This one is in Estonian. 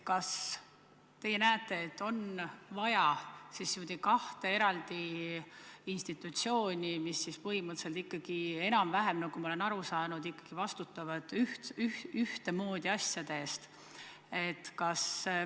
Kas teie näete, et on vaja kahte eraldi institutsiooni, mis siis põhimõtteliselt ikkagi, nagu ma olen aru saanud, vastutavad enam-vähem ühtemoodi asjade eest?